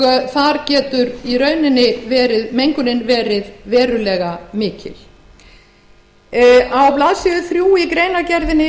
þar getur mengunin verið verulega mikil neðan til á blaðsíðu þrjú í greinargerðinni